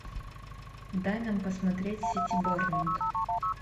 дай нам посмотреть сити борнмут